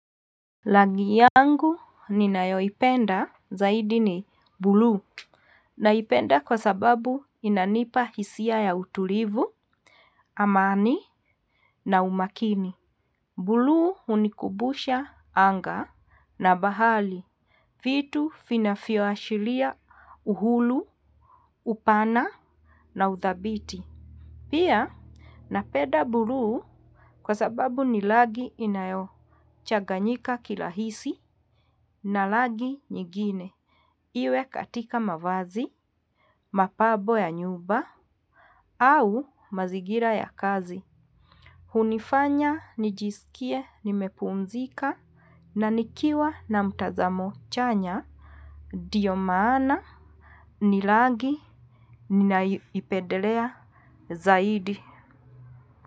Rangi yangu ninayoipenda zaidi ni bluu naipenda kwa sababu inanipa hisia ya utulivu, amani na umakini. Bluu hunikumbusha anga na bahari vitu vinavyoashiria uhulu, upana na uthabiti. Pia napenda bluu kwa sababu ni rangi inayochaganyika kirahisi na rangi nyingine. Iwe katika mavazi, mapambo ya nyumba, au mazingira ya kazi. Hunifanya, nijisikie, nimepumzika, na nikiwa na mtazamo chanya, ndiyo maana, ni rangi, ninaipendelea, zaidi.